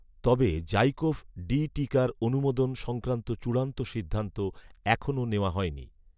তবে ZyCoV D টিকার অনুমোদন সংক্রান্ত চূড়ান্ত সিদ্ধান্ত এখনও নেওয়া হয়নি